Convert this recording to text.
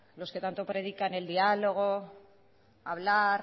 los que tanto predican el diálogo hablar